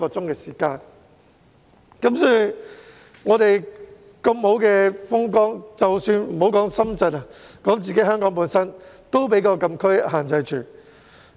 即使有如此美好的風光，莫說要前往深圳，連前往香港的地方也受到禁區的限制。